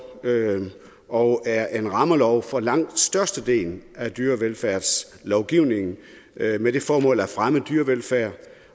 og som er en rammelov for langt størstedelen af dyrevelfærdslovgivningen med det formål at fremme dyrevelfærd